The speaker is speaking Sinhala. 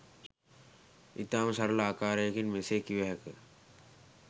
ඉතාම සරළ ආකාරයකින් මෙසේ කිව හැක.